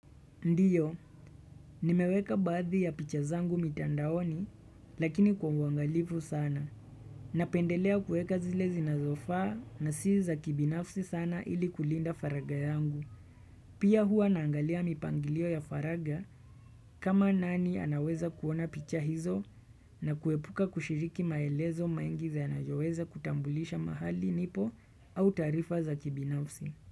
Ndiyo, nimeweka bathi ya picha zangu mitandaoni, lakini kwa uangalifu sana. Napendelea kueka zile zinazofaa na si za kibinafsi sana ili kulinda faraga yangu. Pia hua naangalia mipangilio ya faraga kama nani anaweza kuona picha hizo na kuepuka kushiriki maelezo mengi zinazoweza kutambulisha mahali nipo au tarifa za kibinafsi.